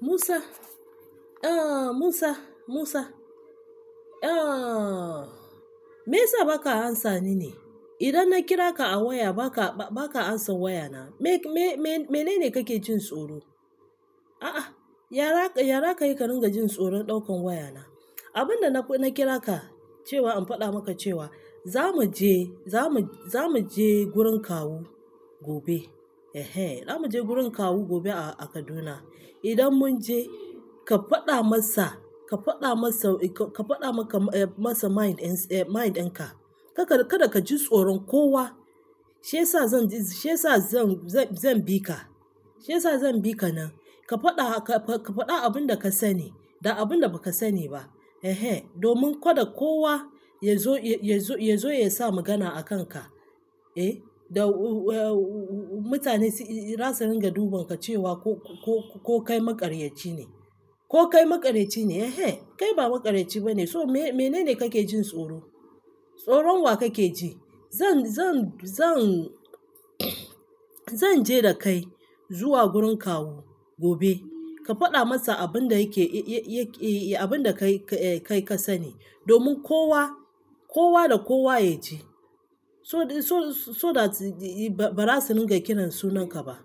Musa, Musa, Musa. Me yasa baka amsa ni ne? Idan na kira ka a waya ba ka amsa wayana. Mene ne kake jin tsoro? Yara kai ka ringa jin tsoron ɗaukan wayana. Abin da na kira ka cewa in faɗa maka cewa za mu je gurin kawu gobe a Kaduna. Idan mun je ka faɗa masa mind ɗinka, kada ka ji tsoron kowa. Shi yasa zan bi ka, shiyasa zan bika nan. Ka faɗa abin da ka sani da abin da ba ka sani ba. Domin kada kowa ya zo ya sa magana a kanka. Da mutane za su ringa dubanka cewa ko kai maƙaryaci ne. Ko kai makaryaci ne. Kai ba maƙaryaci ba ne. So mene ne kake jin tsoro? Tsoron wa kake ji? Zan je da kai zuwa gurin kawu gobe. Ka faɗa masa abin da kai ka sani domin kowa da kowa ya ji. So that, ba za su ringa kirana sunanka ba.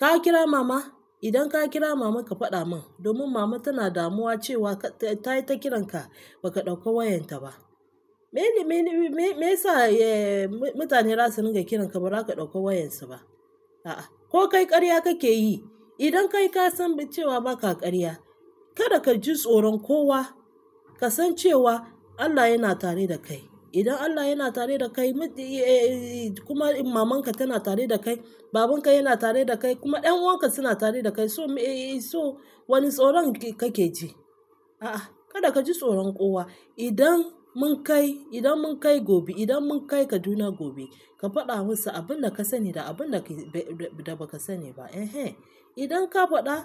Ka kira mama? Idan ka kira mama ka faɗa min. Domin mama tana damuwa cewa tayi ta kiranka ba ka ɗauka wayarta ba. Menene meyasa mutane za su ringa kiranka ba za ka ɗauka wayansu ba? Ko kai ƙarya kake yi? Idan kai ka san cewa ba ka ƙarya, kada ka ji tsoron kowa. Ka san cewa Allah yana tare da kai. Idan Allah yana tare da kai middin kuma maman ka tana tare da kai, babanka yana tare da kai kuma ƴanʼuwan ka suna tare da kai. So wani tsoron kake ji? Kada ka ji tsoron kowa. Idan mun kai Kaduna gobe, ka faɗa musu abin da ka sani da abin da ba ka sani ba. Idan ka faɗa,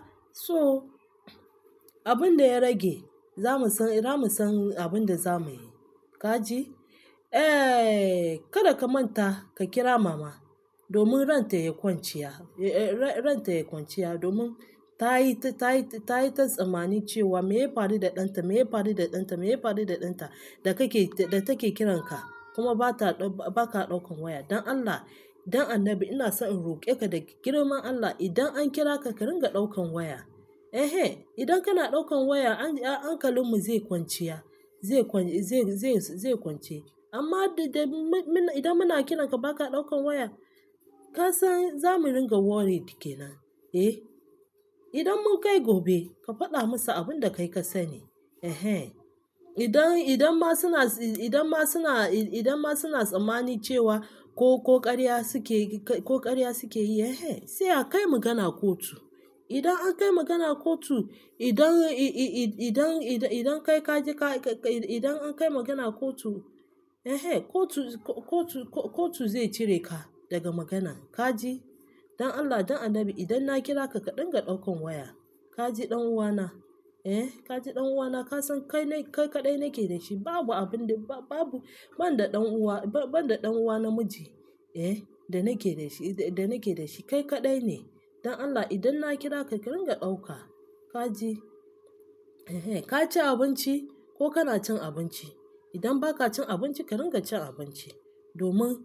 abin da ya rage zamu san abin da zamu yi. Kaji. Kada ka manta ka kira mama domin ranta yayi kwanciya ran ta ya kwanciya. Domin ta yi ta tsammani cewa me ya faru da ɗanta, me ya faru da ɗanta, me ya faru da ɗanta da take kiranka kuma ba ka ɗaukan waya. Don Allah, don annabi ina son in roƙe ka da girman Allah, idan an kira ka, ka ringa ɗaukan waya. Idan kana ɗaukan waya hankalin mu zai kwanciya. Zai kwance amma idan muna kiranka ba ka ɗaukan waya, ka san za mu ringa worried ke nan. Idan mun kai gobe, ka faɗa musu abin da kai ka sani. Idan ma suna idan ma suna tsammani cewa ko ƙarya suke yi, sai a kai magana kotu. Idan an kai magana kotu, kotu zai cire ka daga magana. Ka ji? Don Allah, don annabi idan na kira ka, ka dinga ɗaukan waya. Kaji ɗan uwana. Ka ji ɗan uwana? Ka san kai kaɗai nake da shi. Babu abinda. Ban da ɗan uwa namiji da nake da shi. Kai kaɗai ne. Don Allah idan na kira ka, ka ringa ɗauka. Ka ji? Ka ci abinci ko kana cin abinci? Idan ba ka cin abinci, ka ringa cin abinci. Domin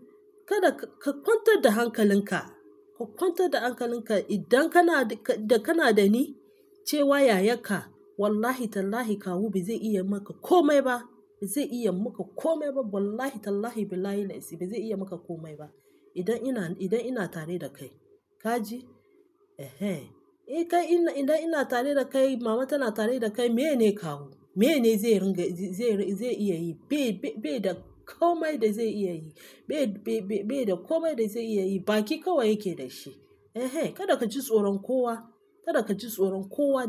kada ka kwantar da hankalinka, ka kwantar da hankalinka idan kana da ni cewa yayarka wallahi tallahi kawu ba zai iya yi maka komai ba. Wallahi tallahi billahi'l aziz ba zai iya yi maka komai ba idan ina tare da kai. Ka ji? Idan ina tare da kai, mama tana tare da kai, mene kawu? Mene zai iya yi? Bai da komai da zai iya yi. Bai da komai da zai iya yi. Baki kawai yake da shi. Kada ka ji tsoron kowa.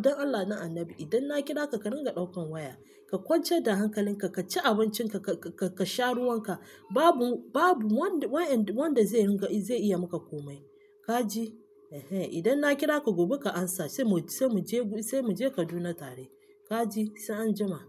Don Allah, don annabi idan na kira ka, ka ringa ɗaukan waya. Ka kwancer da hankalinka, ka ci abincinka, ka sha ruwanka. Babu wanda zai iya yi maka komai. Ka ji? Idan na kira ka gobe, ka amsa sai mu je Kaduna tare. Ka ji? Sai an jima.